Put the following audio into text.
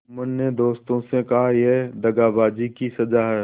जुम्मन ने दोस्तों से कहायह दगाबाजी की सजा है